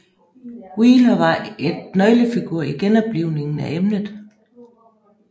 Wheeler var et nøglefigur i genoplivningen af emnet